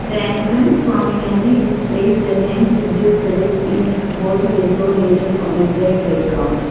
the entrance prominently displays the names sukhdeo palace in bold yellow latters on a black background.